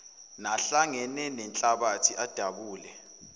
nahlangene nenhlabathi adabule